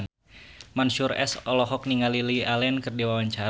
Mansyur S olohok ningali Lily Allen keur diwawancara